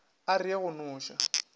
a re ye go noša